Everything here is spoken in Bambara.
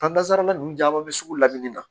Taazara nunnu caman bɛ sugu lamini na